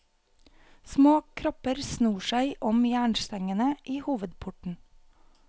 Små kropper snor seg om jernstengene i hovedporten.